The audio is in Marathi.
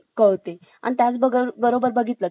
बघितले मोठमोठया सोसायटी मध्ये